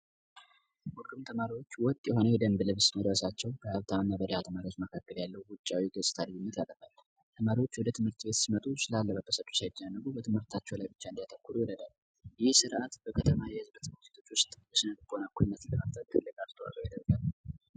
ሁሉም ተማሪዎች ወጥ የሆነ የደንብ ልብስ መልበሳቸው በተማሪዎች መካከል ያለውን ውጫዊ የደስታ ተማሪዎች የትምህርት ቤት ሲመጡ ትምህርታቸው ብቻ እንዲያተኩር ይረዳል ይህ ስርዓት ለመማር ማስተማሩ ሂደት ከፍተኛ አስተዋጽኦ ያበረክታል።